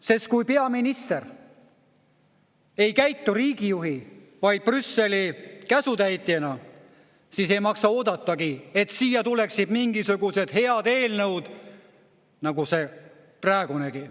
Sest kui peaminister ei käitu riigijuhi, vaid Brüsseli käsutäitjana, siis ei maksa oodatagi, et siia tuleksid mingisugused head eelnõud nagu see praegunegi.